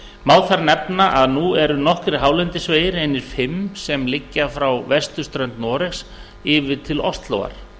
má þar nefna að nú eru nokkrir hálendisvegir einir fimm sem liggja frá vesturströnd noregs yfir til óslóar